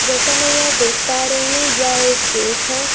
जैसा मै यहाँ देख पा रही हूँ यह एक केक है।